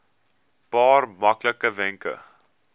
paar maklike wenke